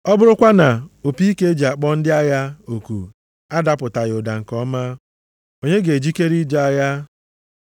Ọ bụrụkwa na opi ike e ji akpọ ndị agha oku adapụtaghị ụda nke ọma, onye ga-ejikere ije agha?